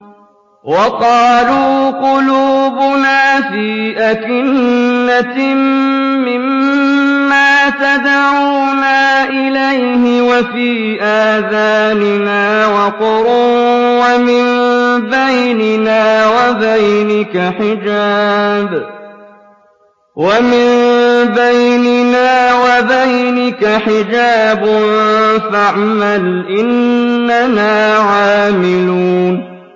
وَقَالُوا قُلُوبُنَا فِي أَكِنَّةٍ مِّمَّا تَدْعُونَا إِلَيْهِ وَفِي آذَانِنَا وَقْرٌ وَمِن بَيْنِنَا وَبَيْنِكَ حِجَابٌ فَاعْمَلْ إِنَّنَا عَامِلُونَ